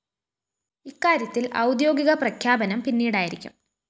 ഇക്കാര്യത്തില്‍ ഔദ്യോഗിക പ്രഖ്യാപനം പിന്നീടായിരിക്കും